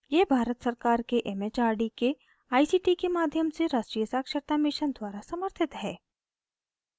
यह भारत सरकार के it it आर डी के आई सी टी के माध्यम से राष्ट्रीय साक्षरता mission द्वारा समर्थित है